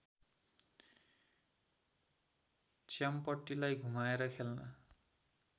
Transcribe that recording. च्याम्पटीलाई घुमाएर खेल्न